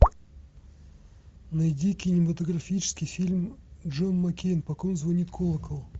найди кинематографический фильм джон маккейн по ком звонит колокол